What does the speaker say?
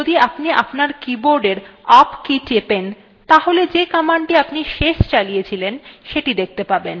প্রথমতঃ যদি আপনি আপনার কীবোর্ডের up key টেপেন তাহলে যে command আপনি শেষ চালিয়েছিলেন সেটি দেখতে পাবেন